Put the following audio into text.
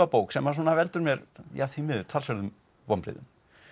bók sem að veldur mér því miður talsverðum vonbrigðum